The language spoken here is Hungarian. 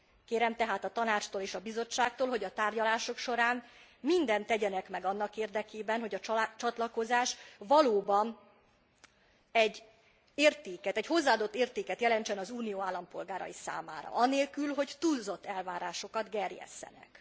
Kérem tehát a Tanácstól és a Bizottságtól, hogy a tárgyalások során mindent tegyenek meg annak érdekében, hogy a csatlakozás valóban egy értéket, egy hozzáadott értéket jelentsen az Unió állampolgárai számára anélkül, hogy túlzott elvárásokat gerjesszenek.